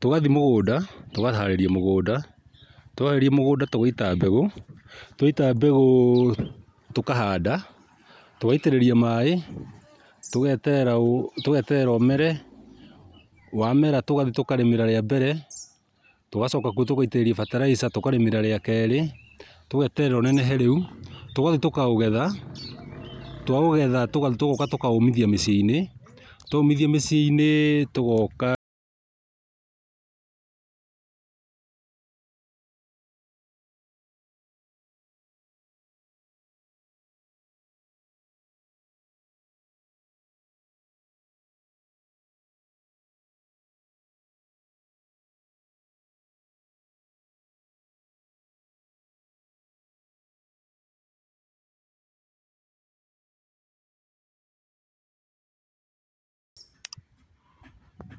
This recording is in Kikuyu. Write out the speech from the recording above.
tũgathiĩ mũgũnda tũkaharĩria mũgũnda. Twaharĩria mũgũnda, tũgaita mbegũ, tũita mbegũ tũkahanda, tũgaitĩrĩria maĩ, tũgeterera ũmeere, wamera tũgathiĩ tũkarĩmĩra rĩa mbere, tũgacoka kũo tũgaitĩrĩria bataraitha, tũkarĩmĩra rĩa kĩrĩ, tũgeterera ũnenehe rĩũ, tũgathiĩ tũgeterera, twaũgetha tũgoka tũkaũmithia miciĩ-inĩ, twomithia miciĩ-ini togoka.